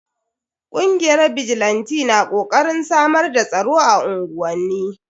Kungiyar bijilanti na kokarin samar da tsaro a unguwanni.